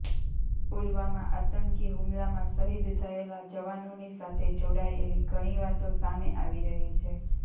પુલવામાં આતંકી હુમલામાં શહીદ થયેલા જવાનોની સાથે જોડાયેલી ઘણી વાતો સામે આવી રહી છે